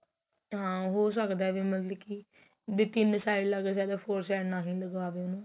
ਹਾਂ ਹੋ ਸਕਦਾ ਮਤਲਬ ਕੀ ਵੀ ਤਿੰਨ side ਲੱਗ ਜਾਵੇ four side ਨਾ ਹੀ ਲਗਾਵੇ ਉਹਨੂੰ